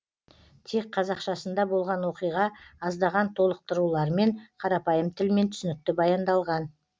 тек қазақшасында болған оқиға аздаған толықтырулармен қарапайым тілмен түсінікті баяндалған